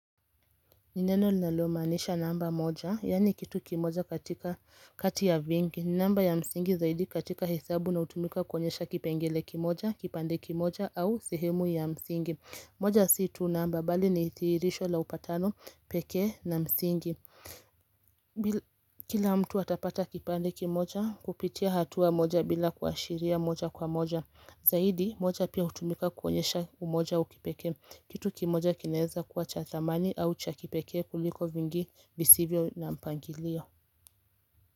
Ni neno linalomaanisha namba moja, yaani kitu kimoja kati ya vingi namba ya msingi zaidi katika hesabu na hutumika kuonyesha kipengele kimoja, kipande kimoja au sehemu ya msingi moja si tu namba, bali ni thihirisho la upatano pekee na msingi Kila mtu atapata kipande kimoja kupitia hatua moja bila kuashiria moja kwa moja Zaidi moja pia hutumika kuonyesha umoja wa kipekee Kitu kimoja kinaeza kuwa cha thamani au cha kipekee kuliko vingi visivyo na mpangilio.